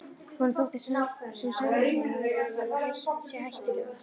Honum þótti sem samræðurnar væru að verða sér hættulegar.